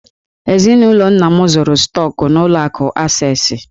Eninụlọ nna m zụrụ stọk n'ụlọ akụ Acesị.